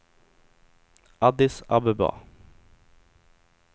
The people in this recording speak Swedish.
Addis Abeba